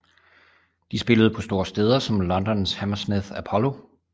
De spillede på store steder som Londons Hammersmith Apollo